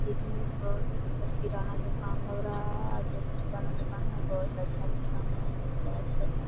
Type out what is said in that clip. दिखने में बहोत सुन्दर किराना दुकान लग रहा है और जो भी किराना दुकान है बहोत अच्छा दुकान है मुझे बहोत पसंद है।